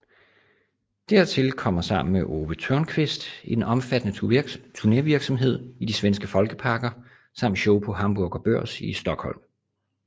Dertil kommer sammen med Owe Thörnqvist en omfattende turnevirksomhed i de svenske folkeparker samt show på Hamburger Börs i Stockholm